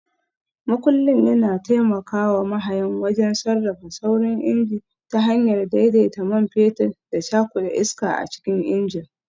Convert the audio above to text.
Makullin yana taimaka wa mahayin wajen sarrafa saurin injin ta hanyar daidaita man fetur da cakuda iska a cikin injin.